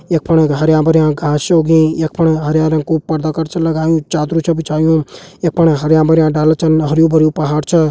यपण हरयां-भरयां घास च उगीं यपण हरा रंग कु पर्दा कट च लगयूं चादर च बिछयुं यपण हरयां-भरयां डाला छन हरयूं-भरयुं पहाड़ च।